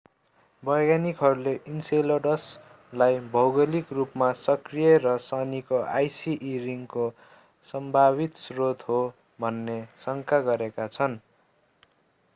वैज्ञानिकहरूले enceladus लाई भौगोलिक रूपमा सक्रिय र शनिको icy e ring को सम्भावित स्रोत हो भन्ने शंका गरेका छन्